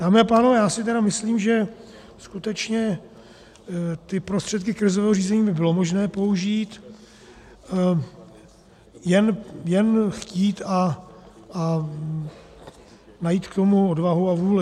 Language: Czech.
Dámy a pánové, já si tedy myslím, že skutečně ty prostředky krizového řízení by bylo možné použít, jen chtít a najít k tomu odvahu a vůli.